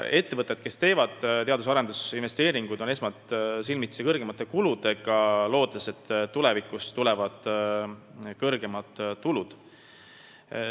Ettevõtted, kes teevad teadus- ja arendusinvesteeringuid, on algul silmitsi suuremate kuludega, aga nad loodavad, et tulevikus tulevad ka suured tulud.